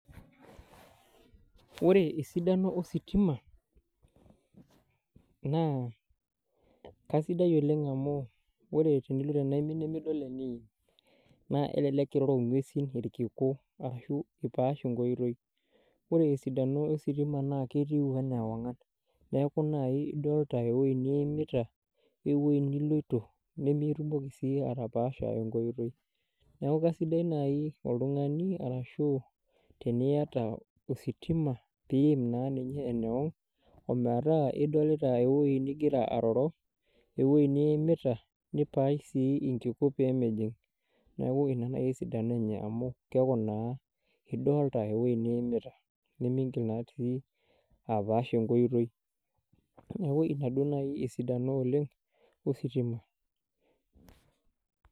Ore esidano ositima naa kaisidai oleng amu ore tenilo tenaimin nidol eniim naa elelek iroro ng'uesi irkiku ashu ipaash enkoitoi ore esidano ositima naa ketiu enaa ewang'an neeku naai idolta ewueji niimita nemintoki sii apaash enkoitoi neeku kaisidai naai oltung'ani arashu eniata ositima piim naa ninye enewang ometaa idolita ewueji nigira aaimita nipaash sii nkiku pee mijing' neeku ina naai esidano enye amu keeku naa idolta ewueji niimita neeeku miingil apash enkoitoi neeku ina naai esidano ositima.